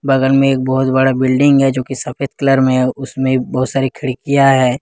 बगल में एक बहुत बड़ा बिल्डिंग है जो की सफेद कलर में है उसमें बहुत सारी खिड़कियां हैं।